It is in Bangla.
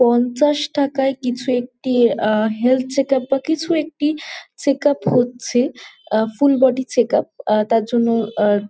পঞ্চাশ টাকায় কিছু একটি আ হেলথ চেকআপ বা কিছু একটি চেকআপ হচ্ছে আ ফুল বডি চেকআপ । আ তার জন্য আ--